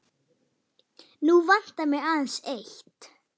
Nú vantar mig aðeins eitt!